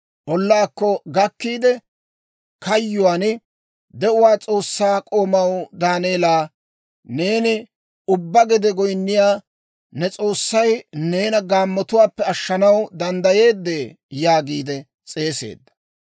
Ollaakko gakkiide kayyuwaan, «De'uwaa S'oossaa k'oomaw Daaneelaa, neeni ubbaa gede goynniyaa ne S'oossay neena gaammotuwaappe ashshanaw danddayeeddee?» yaagiide s'eeseedda.